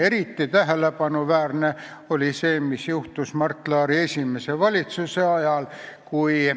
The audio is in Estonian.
Eriti tähelepanuväärne oli see, mis juhtus Mart Laari esimese valitsuse ajal.